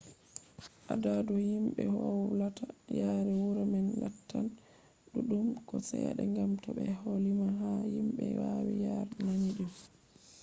adadu himɓe wolwata yaare wuro man lattan ɗuɗɗum ko seɗɗa gam to ɓe ɗo lima be himɓe wawi yare nandi ɗum